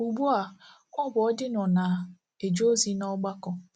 Ugbu a, ọ bụ odino na - eje ozi n’ọgbakọ